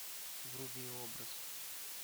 вруби образ